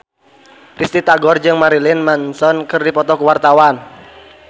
Risty Tagor jeung Marilyn Manson keur dipoto ku wartawan